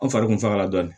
An fari kun fagala dɔɔnin